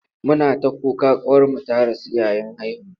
Muna ta kuka ƙawarmu ta rasu yayin haihuwa.